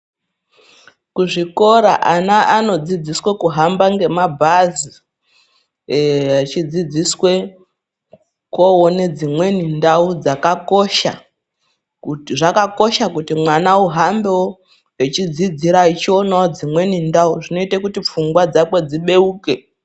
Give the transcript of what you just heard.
Kuzvikora ana anodzidziswa kuhamba ngemabhazi echidzidziswe koona dzimweni ndau dzakakosha. Zvakakosha kuti mwana uhambewo echidzidzira echionawo dzimweni ndau. Zvinoite kuti pfungwa dzake dzibeuke.